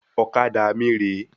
Ọ̀kadà mí rè é